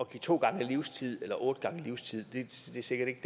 give to gange livstid eller otte gange livstid er sikkert ikke